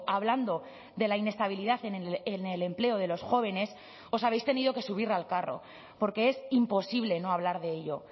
hablando de la inestabilidad en el empleo de los jóvenes os habéis tenido que subir al carro porque es imposible no hablar de ello